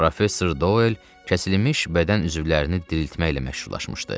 Professor Doel kəsilmiş bədən üzvlərini diriltməklə məşhurlaşmışdı.